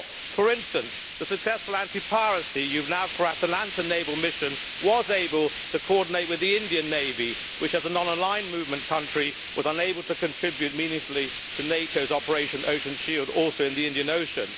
For instance, the successful anti piracy EUNAVFOR Atalanta naval mission was able to coordinate with the Indian navy which, as a non aligned movement country, was unable to contribute meaningfully to NATOʼs Operation Ocean Shield, also in the Indian Ocean.